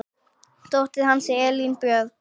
Dóttir hans er Elín Björk.